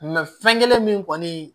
fɛn kelen min kɔni